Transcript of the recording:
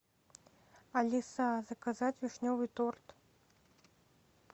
алиса заказать вишневый торт